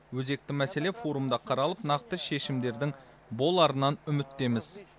өзекті мәселе форумда қаралып нақты шешімдердің боларынан үміттеміз